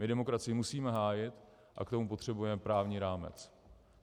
My demokracii musíme hájit a k tomu potřebujeme právní rámec.